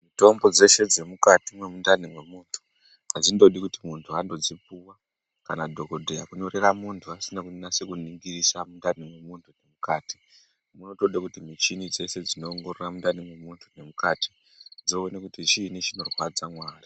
Mitombo dzeshe dzemukati mwemundani memunthu adzindodi kuti muntu andodzipuwa kana dhokodheya kunyorera muntu asina kunyasa kuningisa mundani memunthu mukati, munotoda kuti michini dzeshe dzinoongorora mundani mwemuntu mukati dzione kuti chiini chinorwadza mwaari.